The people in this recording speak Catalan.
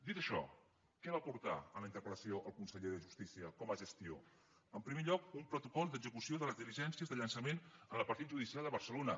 dit això què va aportar a la interpelde justícia com a gestió en primer lloc un protocol d’execució de les diligències de llançament en el partit judicial de barcelona